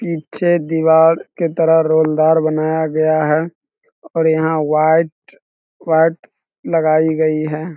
पीछे दीवार के तरह रोलदार बनाया गया है और यहां व्हाइट व्हाइट लगाई गई है।